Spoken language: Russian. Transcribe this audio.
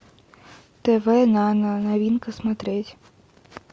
тв нано новинка смотреть